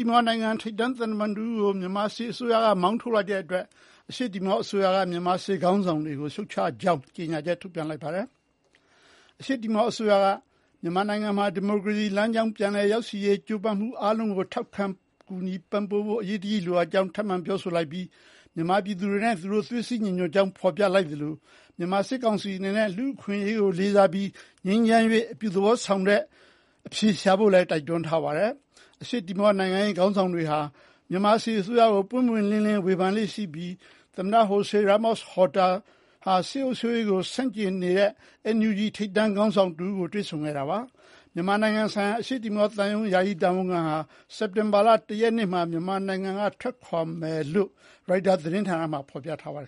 ီမောနိုင်ငံ ထိပ်တန်းသံတမန်တဦးကို မြန်မာစစ်အစိုးရက မောင်းထုတ်လိုက်တဲ့အတွက် အရှေ့တီမောအစိုးရက မြန်မာစစ်ခေါင်းဆောင်တွေကို ရှုတ်ချကြောင်း ကြေညာချက်ထုတ်ပြန်ပါတယ်။ မြန်မာဘက်ကတော့ ဒီအတွက် တစုံတရာတုံ့ပြန်တာမရှိသေးပါဘူး။ အရှေ့တီမောအစိုးရက "မြန်မာနိုင်ငံ ဒီမိုကရေစီလမ်းကြောင်းပေါ်ပြန်လည်ရောက်ရှိရေး ကြိုးပမ်းမှုအားလုံးကို ထောက်ပံ့ကူညီဖို့ အရေးတကြီးလိုအပ်ကြောင်း ထပ်မံပြောဆိုလိုက်ပြီး မြန်မာပြည်သူတွေနဲ့ သွေးစည်းညီညွတ်ကြောင်း ဖော်ပြလိုက်သလို မြန်မာစစ်ကောင်စီအနေနဲ့ လူ့အခွင့်အရေးကိုလေးစားပြီး ငြိမ်းချမ်း၍ အပြုသဘောဆောင်တဲ့အဖြေရှာဖို့ပဲ တိုက်တွန်းထားပါတယ်။ အရှေ့တီမောနိုင်ငံရေးခေါင်းဆောင်တွေဟာ မြန်မာစစ်အစိုးရကို ပွင့်ပွင့်လင်းလင်းဝေဖန်လေ့ရှိပြီး သမ္မတ Jose Ramos Horta စစ်အုပ်ချုပ်ရေးကို ဆန့်ကျင်နေတဲ့ NUG ထိပ်တန်းခေါင်းဆောင်တွေကိုလည်း တွေ့ဆုံခဲ့တာပါ။ မြန်မာနိုင်ငံဆိုင်ရာ အရှေ့တီမောသံရုံး ယာယီတာဝန်ခံဟာ စက်တင်ဘာ (၁) ရက်မှာ မြန်မာနိုင်ငံက ထွက်ခွါရမယ်လို့လည်း ရိုက်တာသတင်းမှာ ဖော်ပြထားပါတယ